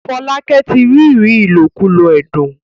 Folake tí ríri ilokulo ẹdun.